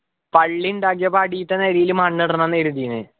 പള്ളി ഉണ്ടാക്കിയപ്പോ അടിത്തെ നിലയില് മണ്ണിടണം ന്നു കരുതീന്